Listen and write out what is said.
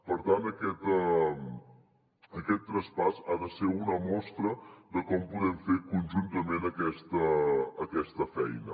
per tant aquest traspàs ha de ser una mostra de com podem fer conjuntament aquesta feina